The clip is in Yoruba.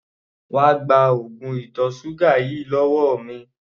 Wá gba oògùn ìtọ̀ ṣúgà yìí lọ́wọ́ mi!